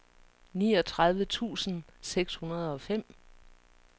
niogtredive tusind seks hundrede og fem